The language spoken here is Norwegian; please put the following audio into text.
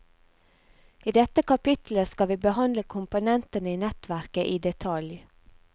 I dette kapittelet skal vi behandle komponentene i nettverket i detalj.